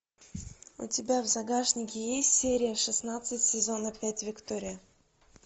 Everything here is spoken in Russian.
у тебя в загашнике есть серия шестнадцать сезона пять виктория